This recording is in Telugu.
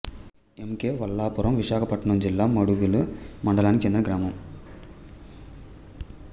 ఎం కె వల్లాపురం విశాఖపట్నం జిల్లా మాడుగుల మండలానికి చెందిన గ్రామం